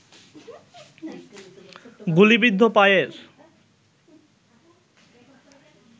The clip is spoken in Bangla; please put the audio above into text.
গুলিবিদ্ধ পায়ের